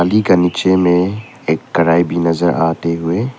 का नीचे में एक कढाई भी नजर आते हुए--